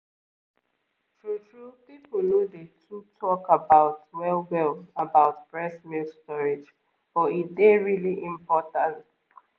true-true people no dey too talk about well-well about breast milk storage but e dey really important